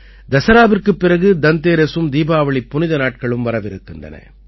தசராவிற்குப் பிறகு தந்தேரஸும் தீபாவளி புனித நாட்களும் வரவிருக்கின்றன